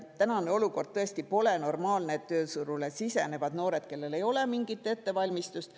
Tänane olukord pole normaalne, et tööturule sisenevad noored, kellel ei ole mingit ettevalmistust.